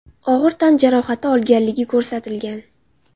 og‘ir tan jarohati olganligi ko‘rsatilgan.